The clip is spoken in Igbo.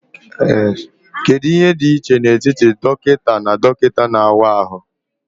Kedu ihe dị iche n'etiti dọkịta na dọkịta na-awa ahụ?